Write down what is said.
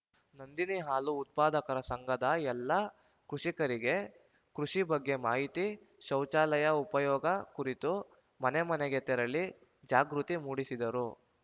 ನಂದಿನಿ ಹಾಲು ಉತ್ಪಾದಕರ ಸಂಘದ ಎಲ್ಲ ಕುಷಿಕರಿಗೆ ಕೃಷಿ ಬಗ್ಗೆ ಮಾಹಿತಿ ಶೌಚಾಲಯ ಉಪಯೋಗ ಕುರಿತು ಮನೆ ಮನೆಗೆ ತೆರಳಿ ಜಾಗೃತಿ ಮೂಡಿಸಿದರು